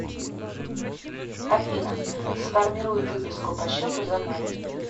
афина сформируй выписку по счету за май